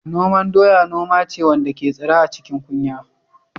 Noman doya noma ce wanda ke tsira a cikin kunya.